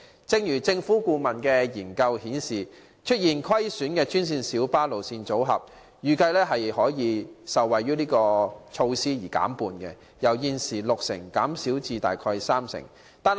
正如政府顧問研究顯示，出現虧損的專線小巴路線組合，預計可受惠於是次措施而令虧損減半，由現時的六成減少至大約三成。